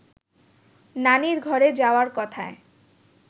নানির ঘরে যাওয়ার কথায়